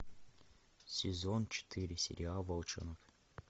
сезон четыре сериал волчонок